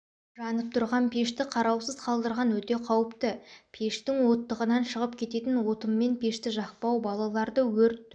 жанып жатқан пешті қараусыз қалдырған өте қауіпті пештің оттығынан шығып кететін отынмен пешті жақпау балаларды өрт